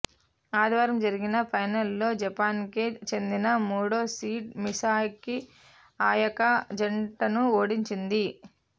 ఆదివారం జరిగిన ఫైనల్లో జపాన్కే చెందిన మూడో సీడ్ మిసాకిఅయాకా జంటను ఓడించింది